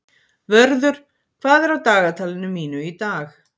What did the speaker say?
Vörður, hvað er á dagatalinu mínu í dag?